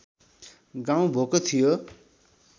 गाउँ भोको थियो